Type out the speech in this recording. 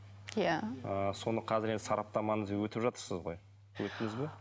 иә соны қазір енді сараптаманы өтіп жатырсыз ғой өттіңіз ба